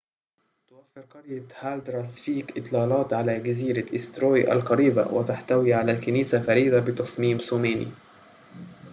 توفر قرية هالدارسفيك إطلالات على جزيرة إيستروي القريبة وتحتوي على كنيسة فريدة بتصميم ثماني